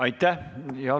Aitäh!